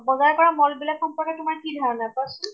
বজাৰ কৰা mall বিলাকৰ সম্পৰ্কে তোমাৰ কি ধাৰণা, কোৱাচোন ।